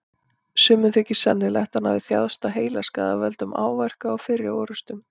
Sumum þykir sennilegt að hann hafi þjáðst af heilaskaða af völdum áverka úr fyrri orrustum.